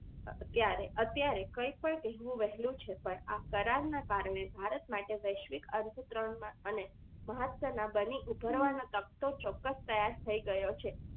અત્યારે કંઈ પણ કહ્યું વહેલું છે પણ આ કરારના કારણે ભારત માટે વૈશ્વિક અર્થતંત્રમાં અને મહત્વના બની ઊભરવાના તખતો તૈયાર ચોક્કસ થઈ ગયો છે